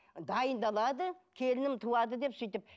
дайындалады келінім туады деп сөйтіп